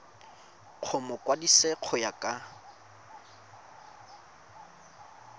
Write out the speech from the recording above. go mokwadise go ya ka